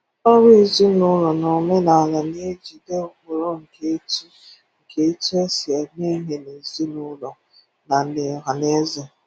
Ọrụ ezinụụlọ na omenaala na-ejide ụkpụrụ nke etu nke etu esi eme ihe n’ezinụụlọ na n’ọhanaeze.